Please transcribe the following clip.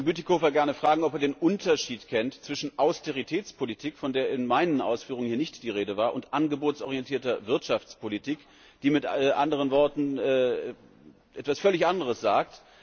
Ich würde den Kollegen Bütikofer gerne fragen, ob er den Unterschied kennt zwischen Austeritätspolitik, von der in meinen Ausführungen hier nicht die Rede war, und angebotsorientierter Wirtschaftspolitik, die mit anderen Worten etwas völlig anderes sagt.